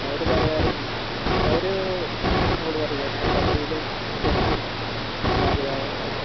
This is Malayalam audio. മ് അവര് പറയാറുണ്ട് അവരു ങ്ങനെ നമ്മളോട് പറീലെ മ്മൾ കബഡില് മ്മ കൊറച്ചു നല്ല അറിയ പോലൊക്കെ